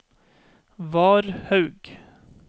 Varhaug